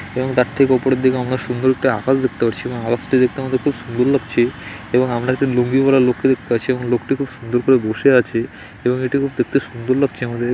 এবং তার ঠিক ওপরের দিকে আমরা সুন্দর একটা আকাশ দেখতে পারছি এবং আকাশ টি দেখতে আমাদের খুব সুন্দর লাগছে | এবং আমরা একটা লুঙ্গি পড়া লোক কে দেখতে পাচ্ছি এবং লোকটি খুব সুন্দর করে বসে আছে | এবং এটি খুব দেখতে খুব সুন্দর লাগছে আমাদের |